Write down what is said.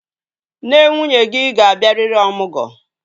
Nne nwunye gị ga-abịarịrị ọmụgwọ.